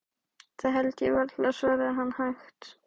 Það held ég varla, svaraði hann hægt.